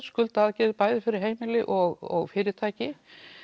skuldaaðgerðir bæði fyrir heimili og fyrirtæki